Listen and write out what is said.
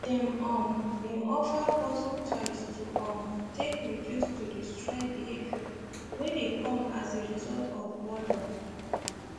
they um been offer puzzle toys to um take reduce to destroy behaviour wey dey come as a result of boredom